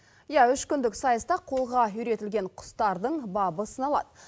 иә үш күндік сайыста қолға үйретілген құстардың бабы сыналады